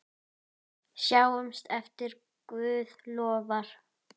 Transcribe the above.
Sjáumst ef Guð lofar.